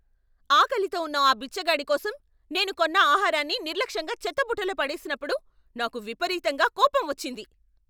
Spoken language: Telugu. ఆకలితో ఉన్న ఆ బిచ్చగాడి కోసం నేను కొన్న ఆహారాన్ని నిర్లక్ష్యంగా చెత్తబుట్టలో పడేసినప్పుడు నాకు విపరీతంగా కోపం వచ్చింది.